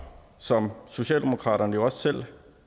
som socialdemokratiet jo også selv